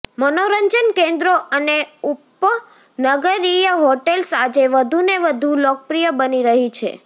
મનોરંજન કેન્દ્રો અને ઉપનગરીય હોટેલ્સ આજે વધુને વધુ લોકપ્રિય બની રહી છે